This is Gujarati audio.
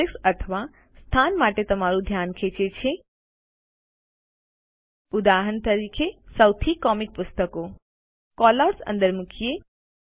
ઓબ્જેક્ટ અથવા સ્થાન માટે તમારું ધ્યાન ખેંચે છે સૌથી કોમિક પુસ્તકો ઉદાહરણ તરીકે કેલઆઉટ્સ અંદર મુકીએ